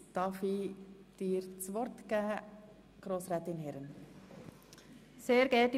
Damit starten wir mit Traktandum 62.